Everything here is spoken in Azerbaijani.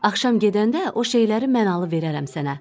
Axşam gedəndə o şeyləri mən alıb verərəm sənə.